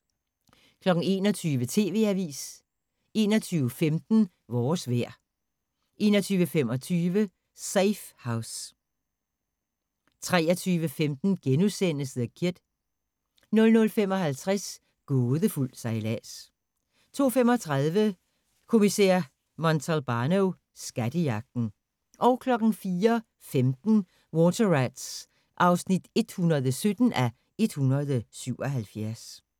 21:00: TV-avisen 21:15: Vores vejr 21:25: Safe House 23:15: The Kid * 00:55: Gådefuld sejlads 02:35: Kommissær Montalbano: Skattejagten 04:15: Water Rats (117:177)